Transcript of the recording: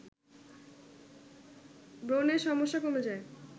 ব্রণের সমস্যা কমে যায়